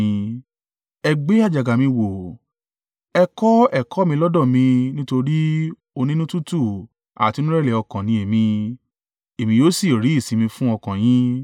Ẹ gbé àjàgà mi wọ̀. Ẹ kọ́ ẹ̀kọ́ lọ́dọ̀ mi nítorí onínútútù àti onírẹ̀lẹ̀ ọkàn ni èmi, ẹ̀yin yóò sì ri ìsinmi fún ọkàn yín.